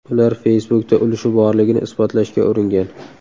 Ular Facebook’da ulushi borligini isbotlashga uringan.